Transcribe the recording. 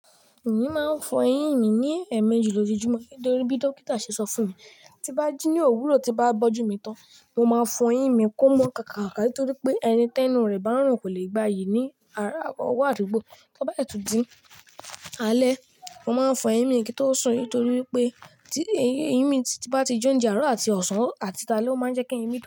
Èmi máa ń fọ eyín mi ní ẹ̀ẹ̀mejì lójoojúmọ́ nitorí bí dókítà ṣe sọ fún mi. Tí bá jí ní òwúrọ̀ tí bá bójú mi tán, mo máa fọ eyín mi kó mọ́ kákáka torí pé ẹni tẹnu rẹ̀ bá ń rùn kò lè gbá iyí ní ara ọwọ́ àdúgbò. Tí ó bá si tunọ di alẹ́, mo máa ń fọ eyín mi kín tó sún nitorí pé tí eyín mi bá ti jó ń di aró àti ọ̀sán àti tale o máa ń jẹ́ kí eyín mi do.